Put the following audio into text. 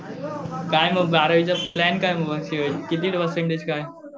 काय मग बारावीचा प्लॅन काय मग किती दिवस काय?